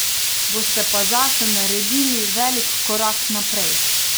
Boste pa zase naredili velik korak naprej.